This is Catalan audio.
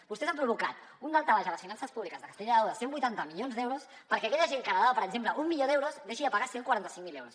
vostès han provocat un daltabaix a les finances públiques de castella i lleó de cent i vuitanta milions d’euros perquè aquella gent que heretava per exemple un milió d’euros deixi de pagar cent i quaranta cinc mil euros